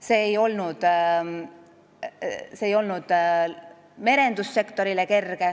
See ei olnud merendussektorile kerge.